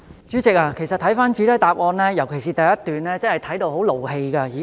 主席，其實，看到主體答覆，尤其第一段，我真的很生氣。